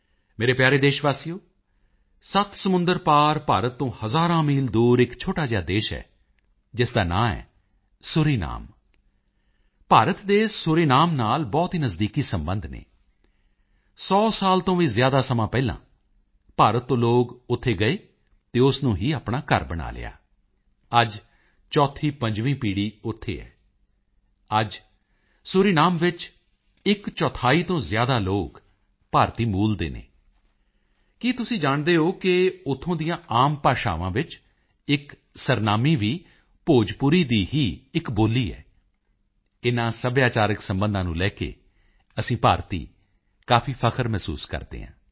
ਮੇਰੇ ਪਿਆਰੇ ਦੇਸ਼ਵਾਸੀਓ ਸੱਤ ਸਮੁੰਦਰ ਪਾਰ ਭਾਰਤ ਤੋਂ ਹਜ਼ਾਰਾਂ ਮੀਲ ਦੂਰ ਇਕ ਛੋਟਾ ਜਿਹਾ ਦੇਸ਼ ਹੈ ਜਿਸ ਦਾ ਨਾਂ ਹੈ ਸੂਰੀਨਾਮ ਭਾਰਤ ਦੇ ਸੂਰੀਨਾਮ ਨਾਲ ਬਹੁਤ ਹੀ ਨਜ਼ਦੀਕੀ ਸਬੰਧ ਹਨ ਸੌ ਸਾਲ ਤੋਂ ਵੀ ਜ਼ਿਆਦਾ ਸਮਾਂ ਪਹਿਲਾਂ ਭਾਰਤ ਤੋਂ ਲੋਕ ਉੱਥੇ ਗਏ ਅਤੇ ਉਸ ਨੂੰ ਹੀ ਆਪਣਾ ਘਰ ਬਣਾ ਲਿਆ ਅੱਜ ਚੌਥੀਪੰਜਵੀਂ ਪੀੜ੍ਹੀ ਉੱਥੇ ਹੈ ਅੱਜ ਸੂਰੀਨਾਮ ਵਿੱਚ ਇਕਚੌਥਾਈ ਤੋਂ ਜ਼ਿਆਦਾ ਲੋਕ ਭਾਰਤੀ ਮੂਲ ਦੇ ਹਨ ਕੀ ਤੁਸੀਂ ਜਾਣਦੇ ਹੋ ਕਿ ਉੱਥੋਂ ਦੀਆਂ ਆਮ ਭਾਸ਼ਾਵਾਂ ਵਿੱਚ ਇਕ ਸਰਨਾਮੀ ਵੀ ਭੋਜਪੁਰੀ ਦੀ ਹੀ ਇਕ ਬੋਲੀ ਹੈ ਇਨ੍ਹਾਂ ਸੱਭਿਆਚਾਰਕ ਸਬੰਧਾਂ ਨੂੰ ਲੈ ਕੇ ਅਸੀਂ ਭਾਰਤੀ ਕਾਫੀ ਫ਼ਖਰ ਮਹਿਸੂਸ ਕਰਦੇ ਹਾਂ